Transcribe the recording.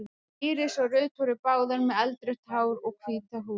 Íris og Ruth voru báðar með eldrautt hár og hvíta húð.